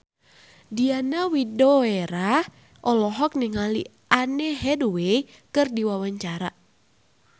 Diana Widoera olohok ningali Anne Hathaway keur diwawancara